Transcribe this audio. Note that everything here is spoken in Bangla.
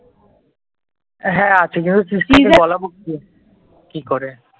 হ্যাঁ কি করে